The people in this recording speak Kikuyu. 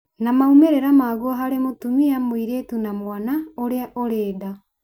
na maumĩrĩra maguo harĩ mũtumia mũritũ na mwana ũrĩa ũrĩ nda